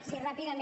sí ràpidament